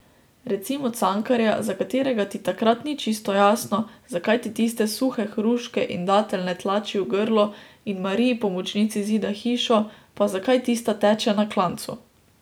Recimo Cankarja, za katerega ti takrat ni čisto jasno, zakaj ti tiste suhe hruške in dateljne tlači v grlo in Mariji Pomočnici zida hišo, pa zakaj tista teče na klancu.